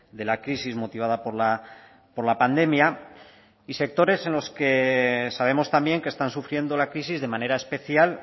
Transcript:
de la crisis motivada por la pandemia y sectores en los que sabemos también que están sufriendo la crisis de manera especial